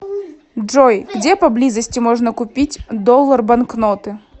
джой где поблизости можно купить доллар банкноты